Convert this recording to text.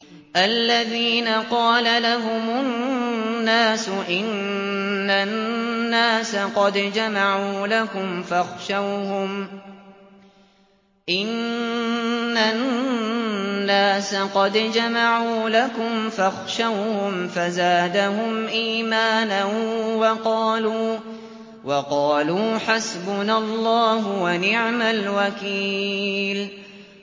الَّذِينَ قَالَ لَهُمُ النَّاسُ إِنَّ النَّاسَ قَدْ جَمَعُوا لَكُمْ فَاخْشَوْهُمْ فَزَادَهُمْ إِيمَانًا وَقَالُوا حَسْبُنَا اللَّهُ وَنِعْمَ الْوَكِيلُ